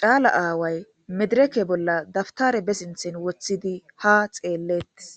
caala aaway medireke bolla dabtare besinthen woththidi ha xeelleettes